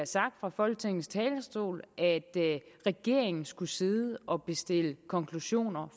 sagt fra folketingets talerstol at regeringen skulle sidde og bestille konklusioner